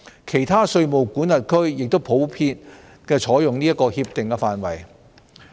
其他稅務管轄區亦普遍採用這些協定範本。